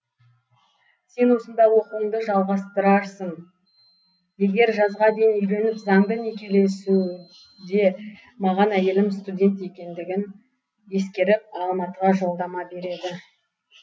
сен осында оқуыңды жалғастырасың егер жазға дейін үйленіп заңды некелессекунд маған әйелім студент екендігін ескеріп алматыға жолдама береді